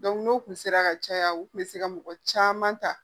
n'o tun sera ka caya u kun bɛ se ka mɔgɔ caman ta